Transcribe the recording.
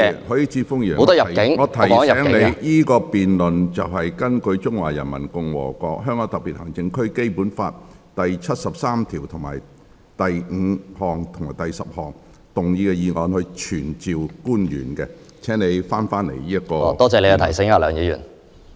許智峯議員，我提醒你，現在是就根據《中華人民共和國香港特別行政區基本法》第七十三條第五項及第十項動議傳召官員的議案進行辯論，請你返回議題。